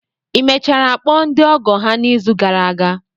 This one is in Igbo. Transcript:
Ị mechara kpọọ ndị ọgọ ha n'izu gara aga?